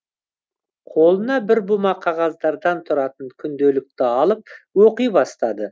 қолына бір бума қағаздардан тұратын күнделікті алып оқи бастады